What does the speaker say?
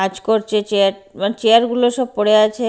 কাজ করছে চেয়ার মানে চেয়ার গুলো সব পড়ে আছে।